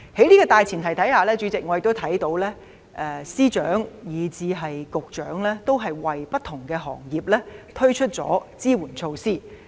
主席，在這樣的大前提下，我看到財政司司長及各局局長，都為不同行業推出支援措施。